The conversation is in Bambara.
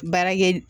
Baarakɛ